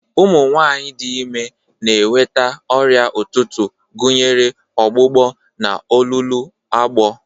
Ụmụ nwanyị dị ime na-enweta ọrịa ụtụtụ, gụnyere ọgbụgbọ na olulu agbọ.